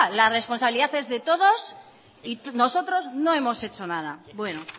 la responsabilidad es de todos y nosotros no hemos hecho nada bueno